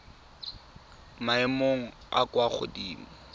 maemong a a kwa godimo